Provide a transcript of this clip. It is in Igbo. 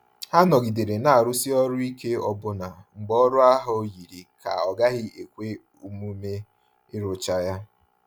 Ha nọgidere n'arụsi ọrụ ike ọbụna mgbe ọrụ ahụ yiri ka ọ gaghị ekwe omume ịrụcha ya.